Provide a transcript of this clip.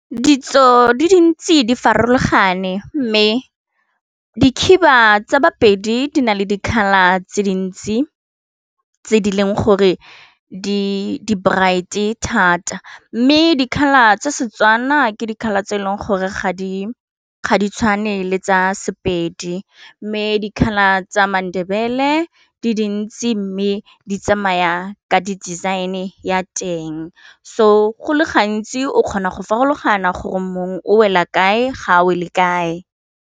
Ditso di dintsi di farologane mme dikhiba tsa bapedi di na le di-colour tse dintsi tse di leng gore di brite thata mme di-colour tsa Setswana ke di-colour tse e leng gore ga di tshwane le tsa Sepedi mme di-colour tsa maNdebele di dintsi mme di tsamaya ka di design-e ya teng, so go le gantsi o kgona go farologana gore mongwe o wela kae ga o le kae.